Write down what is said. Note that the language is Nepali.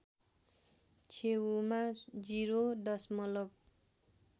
छेउमा ० दशमलव